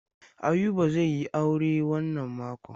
Ayuba zai yi aure wannan makon.